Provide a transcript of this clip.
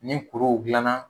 Ni kuruw dilanna